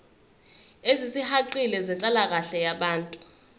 ezisihaqile zenhlalakahle yabantu